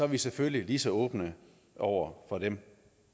vi selvfølgelig lige så åbne over for dem